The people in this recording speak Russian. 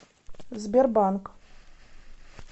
сбербанк